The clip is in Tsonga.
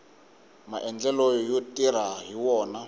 maendlelo yo tirha hi wona